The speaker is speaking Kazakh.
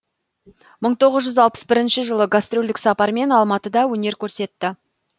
мың тоғыз жүз алпыс бірінші жылы гастрольдік сапармен алматыда өнер көрсетті